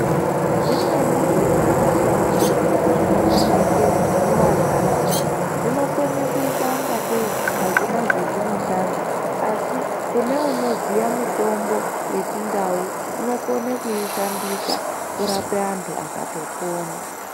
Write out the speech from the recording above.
Zvimweni zvezvimashango zvinooneke mumantaraunda zvinokone kuita ingatei azvina zvezvinoshanda asi kune unoziya mitombo yechindau unokone kuishandisa kurape antu akatopona.